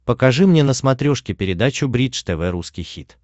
покажи мне на смотрешке передачу бридж тв русский хит